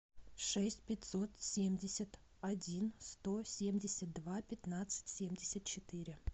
шесть пятьсот семьдесят один сто семьдесят два пятнадцать семьдесят четыре